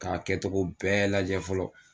K'a kɛtogo bɛɛ lajɛ fɔlɔ.